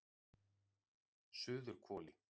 Suðurhvoli